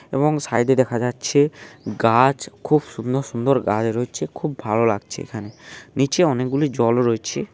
এবং সাইডে দেখা যাচ্ছে গাছ খুব সুন্দর সুন্দর গাছ র‍য়েছে খুব ভালো লাগছে এখানে নীচে অনেকগুলি জল রয়েছে।